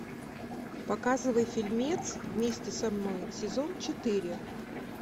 показывай фильмец вместе со мной сезон четыре